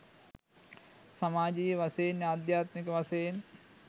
සමාජයීය වශයෙන් අධ්‍යාත්මික වශයෙන්